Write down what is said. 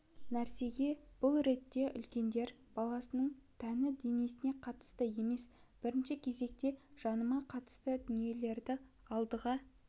нәрсе бұл ретте үлкендер баланың тәні денесіне қатысты емес бірінші кезекте жанына қатысты дүниелерді алдыға